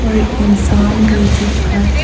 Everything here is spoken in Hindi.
और एक इंसान भी दिख रहा है।